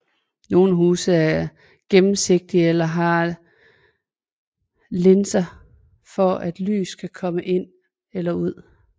Nogle huse er gennemsigtige eller har linser for at lys kan komme ind eller ud